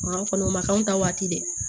Ma kɔni o ma k'anw ta waati dɛ